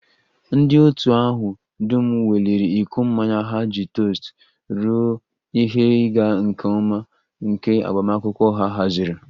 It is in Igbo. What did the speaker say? Ndị otu ahụ dum weliri iko mmanya ha iji tost ruo ihe ịga nke ọma nke agbamakwụkwọ ha haziri